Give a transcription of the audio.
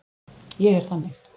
Ég er þannig.